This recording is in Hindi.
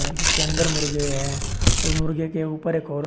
जिसके अंदर मुर्गे है और मुर्गे के ऊपर एक और--